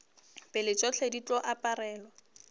pele tšohle di tlo aparelwa